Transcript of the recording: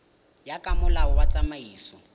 ya ka molao wa tsamaiso